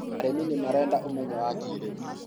arĩmi nĩ marenda ũmenyo wa kĩrĩu